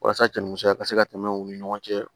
Walasa cɛninmusoya ka se ka tɛmɛ u ni ɲɔgɔn cɛ